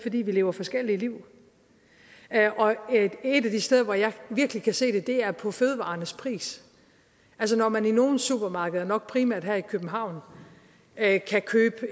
at vi lever forskellige liv et af de steder hvor jeg virkelig kan se det er prisen på fødevarer altså når man i nogle supermarkeder nok primært i københavn kan købes